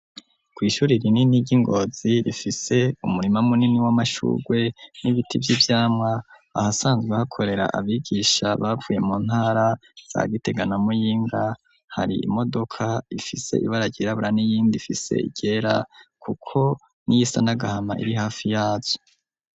ku ishuri rinini ryi Ngozi rifise umurima munini w'amashurwe n'ibiti by'ivyamwa. ahasanzwe hakorera abigisha bavuye mu ntara za gitega na Muyinga hari imodoka ifise ibara ryirabura n'iyindi ifise igera kuko niyisa nagahama iri hafi yazo.